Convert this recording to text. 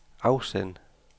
afsend